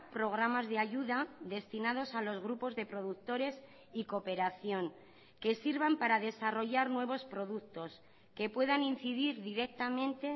programas de ayuda destinados a los grupos de productores y cooperación que sirvan para desarrollar nuevos productos que puedan incidir directamente